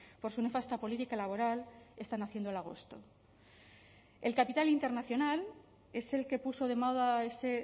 por su nefasta política laboral están haciendo el agosto el capital internacional es el que puso de moda ese